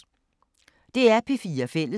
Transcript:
DR P4 Fælles